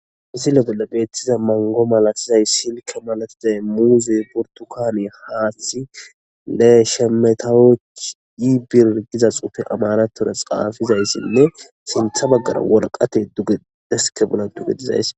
Misile bela beettiza mango malasizay silka malatizay muuze burtukane haati le shemetawoccyi birgiza xufe amanatura xaafizayssinne sintha baggara wolqate dugedeske bolla duge dizays